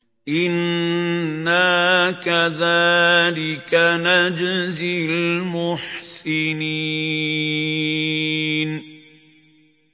إِنَّا كَذَٰلِكَ نَجْزِي الْمُحْسِنِينَ